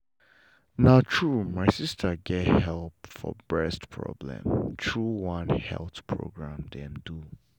na true my sister get help for breast problem through one health program dem do.